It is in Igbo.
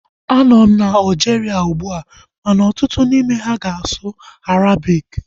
Anọ m na Aljiria ugbua ma ọtụtụ n'ime ha ga-asụ Arabiki